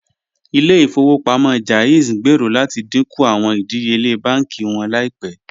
Ìlẹ̀-ifowopamọ JAIZ ngbéèrò láti díńkú awọn ìdíyèle bánkì wọn laípẹ̀.